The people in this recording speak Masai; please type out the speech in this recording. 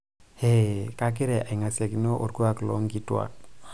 heee kagira aing'asiakino olkuuak loo inkituuak